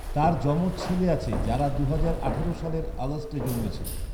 তার যমজ ছেলে আছে যারা দুহাজার আঠারো সালের আগস্টে জন্মেছিল।